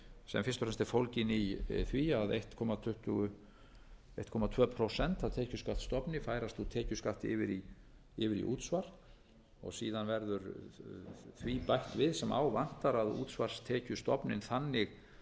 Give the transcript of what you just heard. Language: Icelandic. sem fyrst og fremst er fólgin í því að einn komma tvö prósent af tekjuskattsstofni færast úr tekjuskatti yfir í útsvar og síðan verður því bætt við sem á vantar að útsvarstekjustofninn þannig